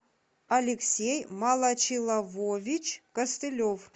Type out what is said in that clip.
алексей малачилавович костылев